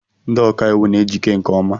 Ndị ọkàiwu na ejike nkeọma.